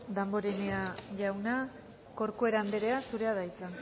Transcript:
damborenea jauna corcuera andrea zurea da hitza